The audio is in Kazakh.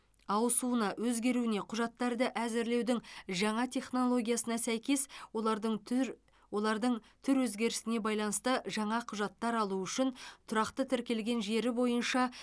ауысуына өзгеруіне құжаттарды әзірлеудің жаңа технологиясына сәйкес олардың түр олардың түр өзгерісіне байланысты жаңа құжаттар алу үшін тұрақты тіркелген жері бойынша